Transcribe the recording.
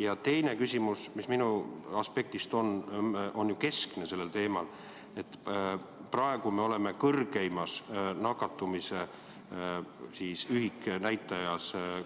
Ja teine küsimus, mis minu aspektist on keskne sellel teemal, on ju see, et praegu on meil kõrgeim nakatumise ühiknäitaja